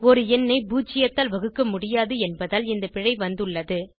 ஒரு எண்ணை பூஜ்ஜியத்தால் வகுக்க முடியாது என்பதால் இந்த பிழை வந்துள்ளது